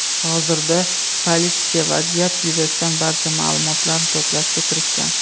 Hozirda politsiya vaziyat yuzasidan barcha ma’lumotlarni to‘plashga kirishgan.